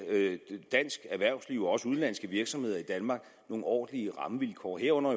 dansk erhvervsliv og også udenlandske virksomheder i danmark nogle ordentlige rammevilkår herunder